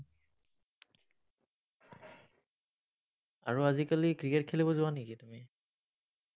আৰু আজিকালি ক্ৰিকেট খেলিব যোৱা নেকি, তুমি?